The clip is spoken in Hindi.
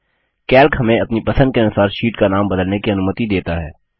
कैल्क हमें अपनी पसंद के अनुसार शीट का नाम बदलने की अनुमति देता है